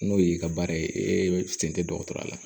N'o y'i ka baara ye e sen tɛ dɔgɔtɔrɔya la